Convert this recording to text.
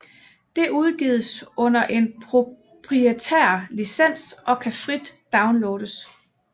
Det udgives under en proprietær licens og kan frit downloades